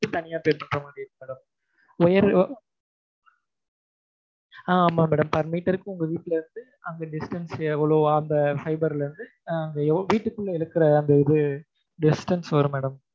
தனியா pay பண்ணவேண்டி இருக்கும் madam wire ஆஹ் ஆமா madam per meter க்கு உங்க வீட்ல இருந்து அந்த distance எவ்வளவு அந்த fiber ல இருந்து அந்த வீட்டுக்குள்ள இருக்கிற அந்த இது distance வரும் madam